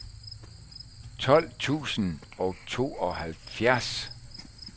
tolv tusind og tooghalvfjerds